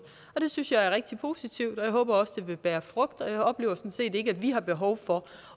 det synes jeg er rigtig positivt og jeg håber også det vil bære frugt jeg oplever sådan set ikke at vi har behov for